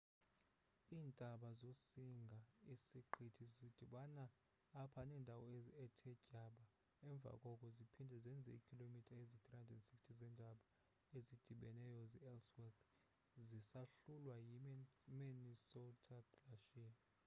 iintaba zosinga-siqithi zidibana apha nendawo ethe tyaba emva koko ziphinde zenze iikhilomitha eziyi-360 zeentaba ezidibeneyo ze-ellsworth zisahlulwa yi-minnesota glacier